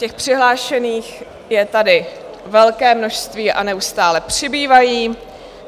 Těch přihlášených je tady velké množství a neustále přibývají.